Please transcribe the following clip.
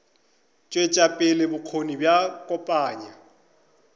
tšwetša pele bokgoni bja kopanya